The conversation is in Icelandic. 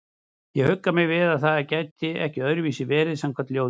Ég huggaði mig við að það gæti ekki öðruvísi verið samkvæmt ljóðinu.